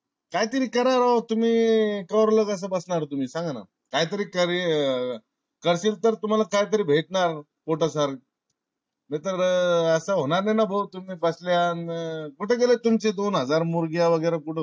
काय तरी करा ओ तुम्ही कवरलोक अस बसणार तुम्ही सांगाणा? काय तरी करतील तर तुम्हाला काय तरी भेटणार पोटाला. नाही तर अह अस होणार नाय ना भाऊ तुम्ही बसणार कुठ गेले तुमचे दोन हजार मुर्ग्या वगैरे कुठ